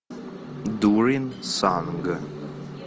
дурин санг